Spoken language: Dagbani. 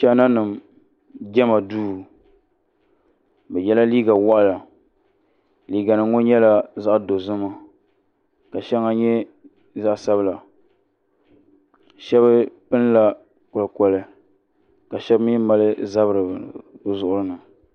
China nima jɛma duu bɛ yela liiga waɣila liiganima ŋɔ nyɛla zaɣ'dozima ka shɛŋa nyɛ zaɣ'sabila shɛba pinila kolikoli ka shɛba mi mali zabiri bɛ zuɣiri ni.